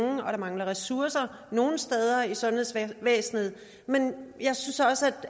og der mangler ressourcer nogle steder i sundhedsvæsenet men jeg synes også